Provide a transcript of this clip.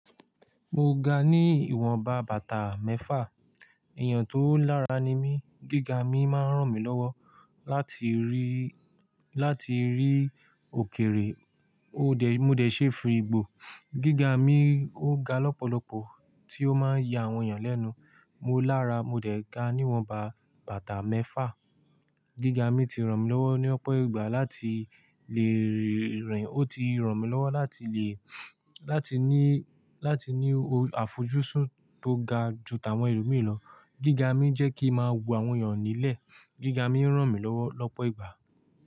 Mo ga ní ìwọnba bàtà mẹ́fà, èèyàn tó lára ni mí, gíga mi máa ń ràn mí lọ́wọ́ láti rí, láti rí òkèrè. Ó dẹ̀, mo dẹ̀ ṣeé fi ìgbò, gíga mi ó ga lọ́pọ̀lọpọ̀ tí ó máa ń ya àwọn èèyàn lẹ́nu. Mo lára, mo dẹ̀ ga ní ìwọnba bàtà mẹ́fà. Gíga mi ti ràn mí lọ́wọ́ ní ọ̀pọ̀ ìgbà láti lè rìn, ó ti ràn mí lọ́wọ́ láti lè, láti ní, láti ní àfojúsùn tó ga ju àwọn ẹlòmíràn lọ. Gíga mi jẹ́ kí ń máa wo àwọn èèyàn nílẹ̀, gíga mi ń ràn mí lọ́wọ́ lọ́pọ̀ ìgbà.